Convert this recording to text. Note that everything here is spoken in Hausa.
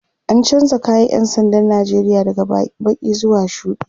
an chanza kayan ƴan sandan Nigeria daga Baki zuwa shuɗi